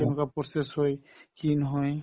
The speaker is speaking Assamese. কেনেকুৱা process হয় কি নহয়